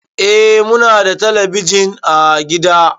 Eh Muna da telebijin ã gida.